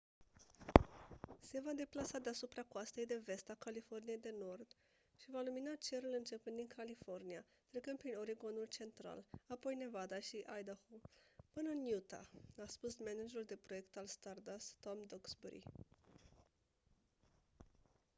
se va deplasa deasupra coastei de vest a californiei de nord și va lumina cerul începând din california trecând prin oregon-ul central apoi nevada și idaho până în utah a spus managerul de proiect al stardust tom duxbury